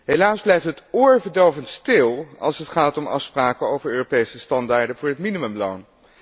Helaas blijft het oorverdovend stil als het gaat om afspraken over Europese normen voor het minimumloon.